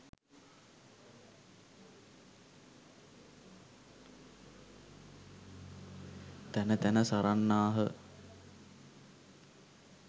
තැන තැන සරන්නාහ.